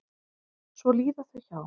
Svo líða þau hjá.